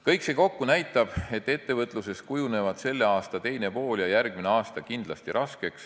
Kõik see kokku näitab, et ettevõtluses kujunevad selle aasta teine pool ja järgmine aasta kindlasti raskeks.